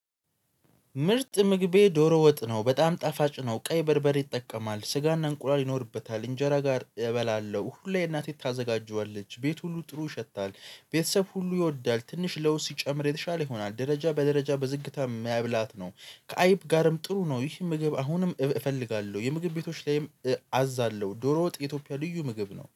ምርጥ ምግቤ ዶሮ ወጥ ነው በጣም ጣፋጭ ነው። ቀይ በርበር ይጠቀማል ስጋና እንቁላል ይኖርበታል እንጀራ ጋር እበላለሁ። ሁሌ እናቴ ታዘጋጀዋለች ቤት ሁሉ ጥሩ ይሸታል። ቤተሰብ ሁሉ ይወዳል። ትንሽ ለውስ ሲጨምር የተሻለ ይሆናል ደረጃ በደረጃ በዝግታ መብላት ነው። ከአይብ ጋርም ጥሩ ነው። ይህ ምግብ አሁንም እፈልጋለሁ የምግብ ቤቶች ላይም አዛለሁ። ዶሮ ወጥ የኢትዮጵያ ልዩ ምግብ ነው።